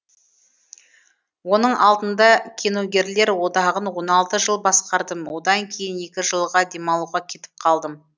оның алдында киногерлер одағын он алты жыл басқардым одан кейін екі жылға демалуға кетіп қалдым